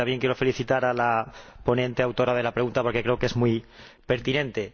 también quiero felicitar a la ponente, autora de la pregunta, porque creo que es muy pertinente.